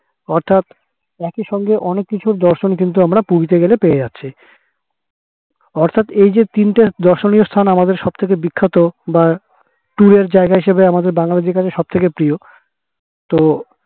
অর্থাৎ একই সাথে অনেক কিছুর দর্শন ও আমরা পেয়ে যাবো অর্থাৎ এই যে তিনটে দর্শনীয় স্থান আলাদা সবথেকে বিখ্যাত বা tour এর জায়গা হিসাবে আমাদের বাঙালিদের কাছে সব থেকে প্রিয় ও